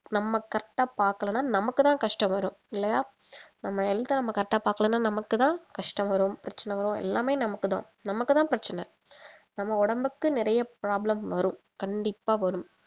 நம்ம correct ஆ பாக்கலன்னா நம்மக்கு தான் கஷ்டம் வரும் இல்லையா நம்ம health அ நம்ம correct ஆ பாக்கலண்ணா நமக்கு தான் கஷ்டம் வரும் பிரச்சனை வரும் எல்லாமே நமக்கு தான் நமக்கு தான் பிரச்சனை நம்ம உடம்புக்கு நிறைய problem வரும் கண்டிப்பா வரும்